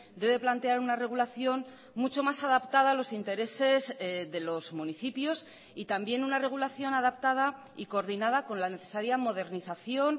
debe plantear una regulación mucho más adaptada a los intereses de los municipios y también una regulación adaptada y coordinada con la necesaria modernización